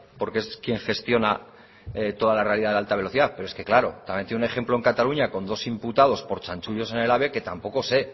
porque es quien gestiona toda la realidad de la alta velocidad pero es que claro también tiene un ejemplo en cataluña con dos imputados por chanchullos en el ave que tampoco sé